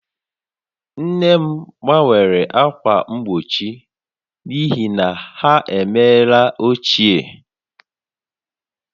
Nne m gbanwere ákwà mgbochi n'ihi na ha emeela ochie